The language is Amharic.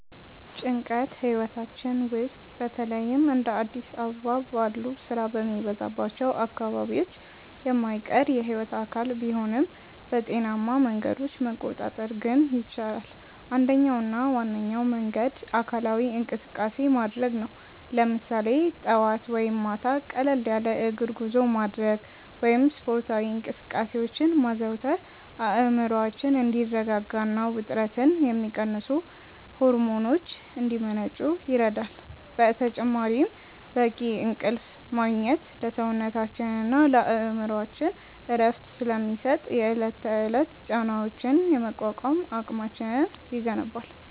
ጭንቀት ህይወታችን ውስጥ በተለይም እንደ አዲስ አበባ ባሉ ስራ በሚበዛባቸው አካባቢዎች የማይቀር የህይወት አካል ቢሆንም፣ በጤናማ መንገዶች መቆጣጠር ግን ይቻላል። አንደኛውና ዋነኛው መንገድ አካላዊ እንቅስቃሴ ማድረግ ነው፤ ለምሳሌ ጠዋት ወይም ማታ ቀለል ያለ የእግር ጉዞ ማድረግ ወይም ስፖርታዊ እንቅስቃሴዎችን ማዘውተር አእምሮአችን እንዲረጋጋና ውጥረትን የሚቀንሱ ሆርሞኖች እንዲመነጩ ይረዳል። በተጨማሪም በቂ እንቅልፍ ማግኘት ለሰውነታችንና ለአእምሮአችን እረፍት ስለሚሰጥ፣ የዕለት ተዕለት ጫናዎችን የመቋቋም አቅማችንን ይገነባል።